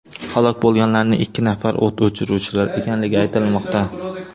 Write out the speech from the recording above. Halok bo‘lganlarning ikki nafari o‘t o‘chiruvchilar ekanligi aytilmoqda.